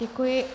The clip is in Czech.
Děkuji.